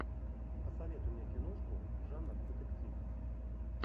посоветуй мне киношку жанр детектив